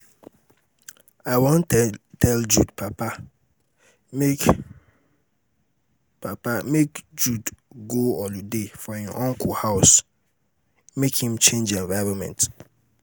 i wan tell jude papa make papa make jude go holiday for im uncle house for lagos make im change environment